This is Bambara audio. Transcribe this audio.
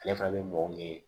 Ale fana bɛ mɔgɔ min ye